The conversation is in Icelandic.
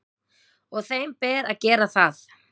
Og þeim ber að gera það.